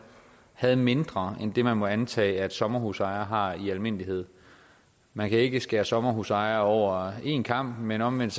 havde mindre end det man må antage sommerhusejere har i almindelighed man kan ikke skære sommerhusejere over en kam men omvendt